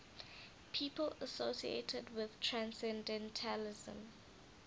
people associated with transcendentalism